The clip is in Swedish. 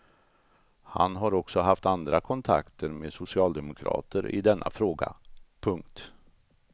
Han har också haft andra kontakter med socialdemokrater i denna fråga. punkt